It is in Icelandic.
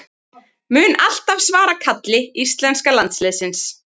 Mun alltaf svara kalli íslenska landsliðsins